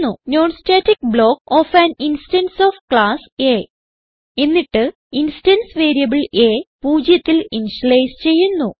non static block of an instance of class A എന്നിട്ട് instance variable a പൂജ്യത്തിൽ initialise ചെയ്യുന്നു